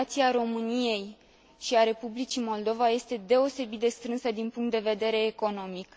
Relația României și a Republicii Moldova este deosebit de strânsă din punct de vedere economic.